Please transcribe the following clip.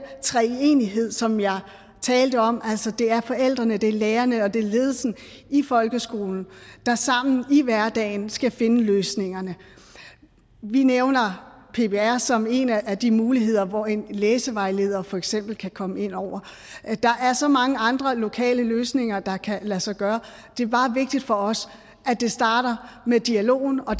treenighed som jeg talte om altså at det er forældrene det er lærerne og det er ledelsen i folkeskolen der sammen i hverdagen skal finde løsningerne vi nævner ppr som en af de muligheder hvor en læsevejleder for eksempel kan komme indover der er så mange andre lokale løsninger der kan lade sig gøre det er bare vigtigt for os at det starter med dialogen og